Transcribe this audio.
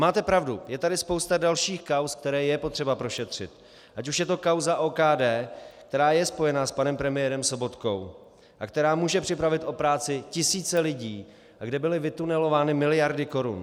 Máte pravdu, je tady spousta dalších kauz, které je potřeba prošetřit, ať už je to kauza OKD, která je spojena s panem premiérem Sobotkou a která může připravit o práci tisíce lidí a kde byly vytunelovány miliardy korun.